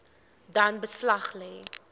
dan beslag lê